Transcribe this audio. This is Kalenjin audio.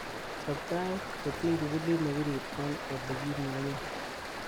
chob tait kotiny kibulit nebirir en olegimunyen